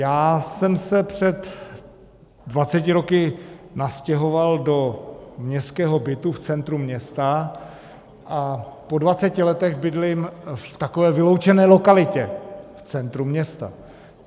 Já jsem se před dvaceti roky nastěhoval do městského bytu v centru města a po dvaceti letech bydlím v takové vyloučené lokalitě v centru města.